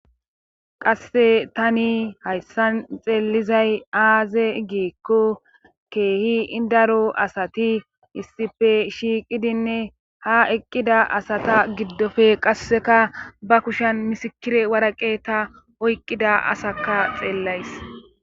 qasse tani hayssan xeellizay aaze giikko keehi idaro asati issipe shiiqidinne ha eqqida asata giddofe qasseka ba kushan misikire waraqe ta oyqqida asakka xeellays